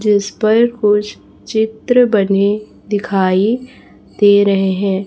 जिस पर कुछ चित्र बने दिखाई दे रहे हैं।